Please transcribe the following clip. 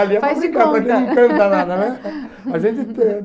Ali é para brincar, para quem não canta nada, né? A gente eh